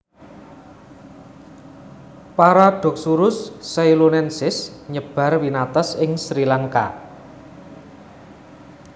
Paradoxurus zeylonensis nyebar winates ing Sri Lanka